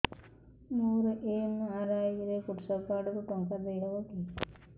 ମୋର ଏମ.ଆର.ଆଇ ରେ କୃଷକ କାର୍ଡ ରୁ ଟଙ୍କା ଦେଇ ହବ କି